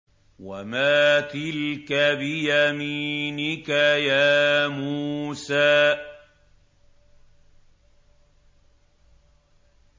وَمَا تِلْكَ بِيَمِينِكَ يَا مُوسَىٰ